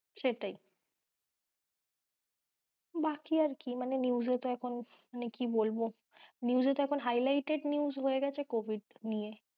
সেটাই। বাকি আর কি মানে news এ তো এখন মানে কি বলবো news এ তো এখন highlighted news হয়ে গেছে covid নিয়ে।